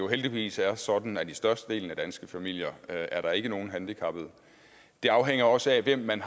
heldigvis er sådan at i størstedelen af de danske familier er der ikke nogen handicappede det afhænger også af hvem man